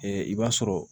i b'a sɔrɔ